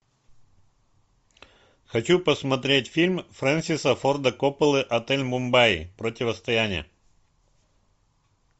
хочу посмотреть фильм фрэнсиса форда копполы отель мумбаи противостояние